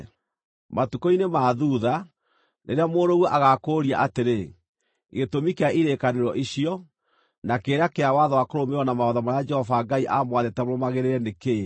Matukũ-inĩ ma thuutha, rĩrĩa mũrũguo agaakũũria atĩrĩ, “Gĩtũmi kĩa irĩkanĩro icio, na kĩrĩra kĩa watho wa kũrũmĩrĩrwo na mawatho marĩa Jehova Ngai aamwathĩte mũrũmagĩrĩre, nĩ kĩĩ?”